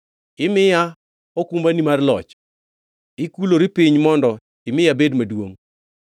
Imiya okumbani mar loch; ikulori piny mondo imi abed maduongʼ.